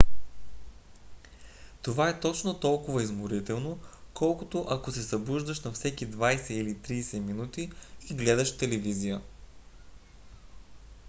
това е точно толкова изморително колкото ако се събуждаш на всеки 20 или 30 минути и гледаш телевизия